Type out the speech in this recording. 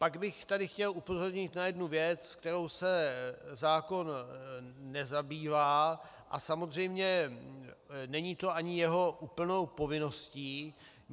Pak bych tady chtěl upozornit na jednu věc, kterou se zákon nezabývá, a samozřejmě není to ani jeho úplnou povinností.